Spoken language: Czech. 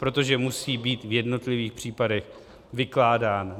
Protože musí být v jednotlivých případech vykládán.